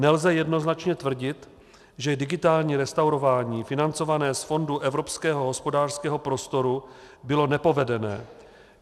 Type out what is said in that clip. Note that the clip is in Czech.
Nelze jednoznačně tvrdit, že digitální restaurování financované z fondu Evropského hospodářského prostoru bylo nepovedené.